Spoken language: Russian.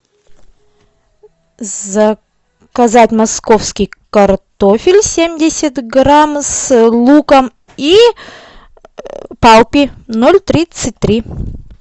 заказать московский картофель семьдесят грамм с луком и палпи ноль тридцать три